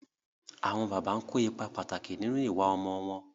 Àwọn bàbá ń kó ipá pàtàkì nínú ìwà ọmọ wọn.